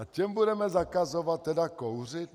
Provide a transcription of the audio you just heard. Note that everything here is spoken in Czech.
A těm budeme zakazovat tedy kouřit?